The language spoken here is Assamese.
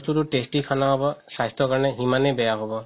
তো tasty খানা হ'ব স্বাস্থ্য কাৰণে খিমানেই বেয়া হ'ব